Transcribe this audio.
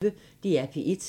DR P1